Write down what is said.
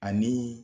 Ani